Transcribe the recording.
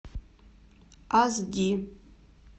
ас ди